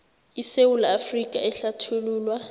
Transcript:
isewula afrika ehlathululwa